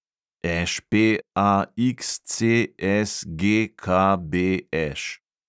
ŠPAXCSGKBŠ